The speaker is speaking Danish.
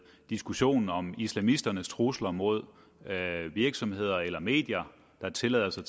diskussionen om islamisternes trusler mod virksomheder eller medier der tillader sig